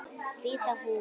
Hvíta húfan.